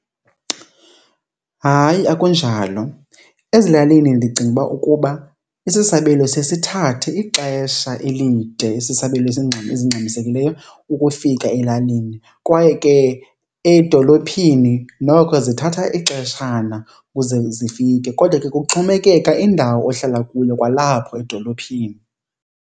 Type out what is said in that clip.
Hayi, akunjalo. Ezilalini ndicinga uba ukuba isisabelo siye sithathe ixesha elide, isisabelo ezingxamisekileyo ukufika elalini. Kwaye ke edolophini noko zithatha ixeshana ukuze zifike kodwa ke kuxhomekeka indawo ohlala kuyo kwalapho edolophini.